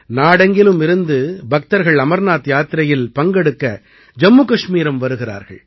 நாடெங்கிலும் இருந்து பக்தர்கள் அமர்நாத் யாத்திரையில் பங்கெடுக்க ஜம்மு கஷ்மீரம் வருகிறார்கள்